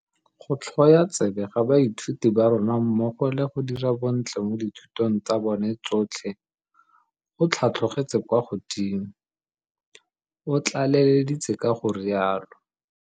Go tlhwoya tsebe ga baithuti ba rona mmogo le go dira bontle mo dithutong tsa bona tsotlhe go tlhatlhogetse kwa godimo, o tlaleleditse ka go rialo.